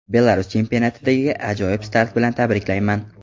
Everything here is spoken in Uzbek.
Belarus chempionatidagi ajoyib start bilan tabriklayman.